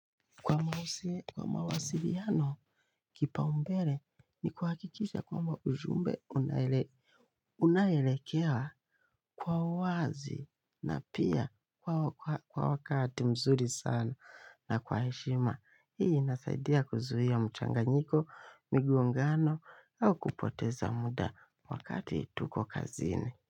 Kwa mawasiliano, kipao mbele ni kuhakikisha kwamba ujumbe unaelekea kwa uwazi na pia kwa wakati mzuri sana na kwa heshima. Hii inasaidia kuzuia mchanganyiko, migongano au kupoteza muda wakati tuko kazini.